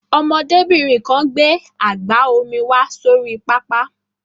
Ọmọdébìnrin kan gbé àgbá omi wá sórí pápá.